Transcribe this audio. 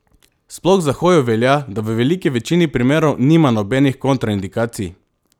Sploh za hojo velja, da v veliki večini primerov nima nobenih kontraindikacij.